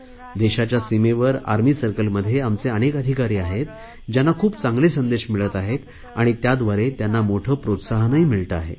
देशाच्या सीमेवर आर्मी सर्कलमध्ये आमचे अनेक अधिकारी आहेत ज्यांना खूप चांगले संदेश मिळत आहेत आणि त्याद्वारे त्यांना मोठे प्रोत्साहन मिळते आहे